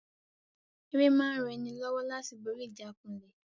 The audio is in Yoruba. Ère máa ń ran ni lọ́wọ́ láti borí ìjákulẹ̀